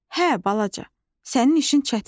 Hə, balaca, sənin işin çətindir.